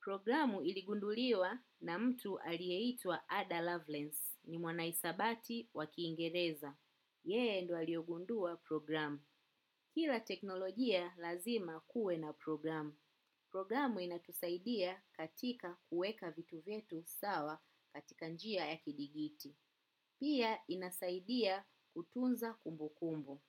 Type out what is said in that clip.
Programu iligunduliwa na mtu aliyeitwa Ada Lovelace ni mwanahisabati wakiingereza. Yeye ndio aliyegundua programu. Kila teknolojia lazima kuwe na programu. Programu inatusaidia katika kuweka vitu vyetu sawa katika njia ya kidigiti. Pia inasaidia kutunza kumbukumbu.